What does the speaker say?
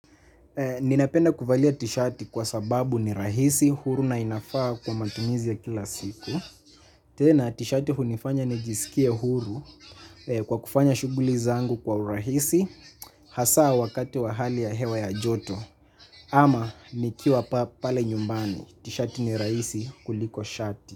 Ninapenda kuvalia tishati kwa sababu ni rahisi huru na inafaa kwa matumizi ya kila siku. Tena tishati hunifanya nijisikie huru kwa kufanya shuguli zangu kwa urahisi hasaa wakati wa hali ya hewa ya joto ama nikiwa pale nyumbani tishati ni rahisi kuliko shati.